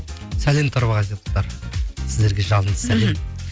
сәлем тарбағатайлықтар сіздерге жалынды сәлем